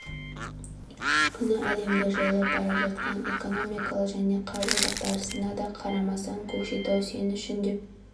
күні әлемді жайлап бара жатқан экономикалық және қаржы дағдарысына да қарамастан көкшетау сен үшін деп